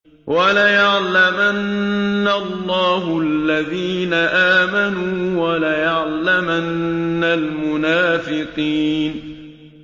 وَلَيَعْلَمَنَّ اللَّهُ الَّذِينَ آمَنُوا وَلَيَعْلَمَنَّ الْمُنَافِقِينَ